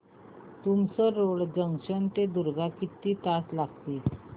Tumsar road junction ते दुर्ग किती तास लागतील